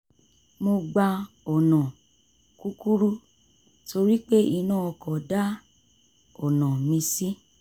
mo gba ọ̀nà kúkúrú torí pé iná ọkọ̀ dá ọ̀nà mí ṣí